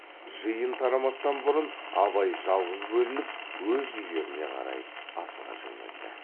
жиын тарамастан бұрын абай жалғыз бөлініп өз үйлеріне қарай асыға жөнелді